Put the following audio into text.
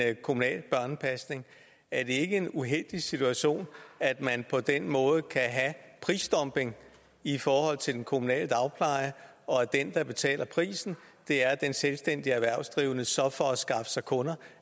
end kommunal børnepasning er det ikke en uheldig situation at man på den måde kan have prisdumping i forhold til den kommunale dagpleje og at den der betaler prisen er den selvstændigt erhvervsdrivende som for at skaffe sig kunder